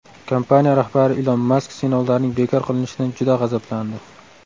Kompaniya rahbari Ilon Mask sinovlarning bekor qilinishidan juda g‘azablandi.